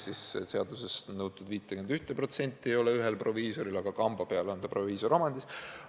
Seaduses on nõutud, et vähemalt 51% peab kuuluma ühele proviisorile, aga seal on apteek kamba peale proviisoriomandis.